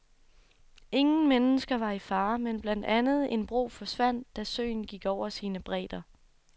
Ingen mennesker var i fare, men blandt andet en bro forsvandt, da søen gik over sine bredder.